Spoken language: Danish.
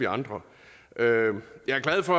andre jeg er glad for